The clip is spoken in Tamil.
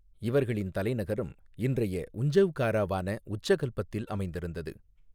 இவர்களின் தலைநகரம் இன்றைய உஞ்சௌகாராவான உச்சகல்பத்தில் அமைந்திருந்தது.